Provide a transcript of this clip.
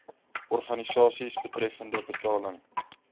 organisasies betreffende betaling